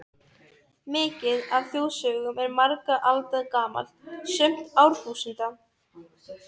Mikið af þjóðsögum er margra alda gamalt, sumt árþúsunda.